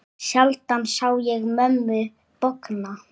Sjaldan sá ég mömmu bogna.